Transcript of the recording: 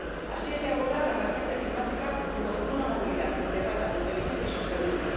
Así hay que abordar la emergencia climática, junto con una movilidad integrada, inteligente y sostenible.